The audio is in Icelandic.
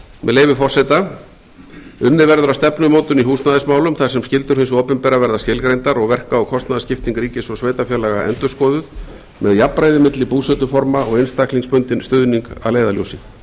með leyfi forseta unnið verður að stefnumótun í húsnæðismálum þar sem skyldur hins opinbera verða skilgreindar og verka og kostnaðarskipting ríkis og sveitarfélaga verður endurskoðuð með jafnræði milli búsetuforma og einstaklingsbundinn stuðning að leiðarljósi